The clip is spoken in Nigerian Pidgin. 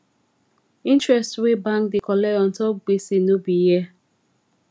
interest wey bank da colect untop gbese no be here